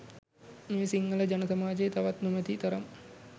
මේ සිංහල ජන සාමජයේ තවත් නොමැති තරම්.